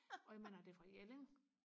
og jeg mener det er fra Jelling